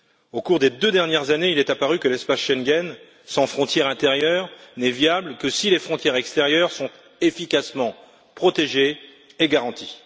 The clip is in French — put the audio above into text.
Au cours des deux dernières années, il est apparu que l'espace Schengen sans frontières intérieures n'est viable que si les frontières extérieures sont efficacement protégées et garanties.